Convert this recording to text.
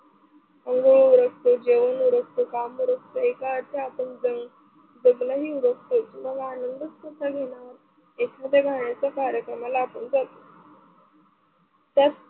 आंघोळ उरकतो, जेवण उरकतो, काम उरकतो एका अर्थी आपण जगणं ही उरकतो, तेव्हा आनंदच कुठचा घेणार. एखाद्या गाण्याच्या कार्यक्रमाला आपण जातो तर,